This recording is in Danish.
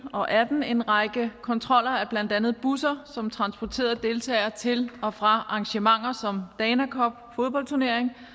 og atten en række kontroller af blandt andet busser som transporterede deltagere til og fra arrangementer som fodboldturneringen